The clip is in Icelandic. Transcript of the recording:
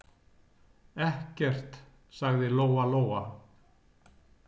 Ekkert, sagði Lóa-Lóa.